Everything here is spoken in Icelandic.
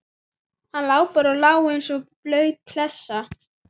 Hann lá bara og lá eins og blaut klessa.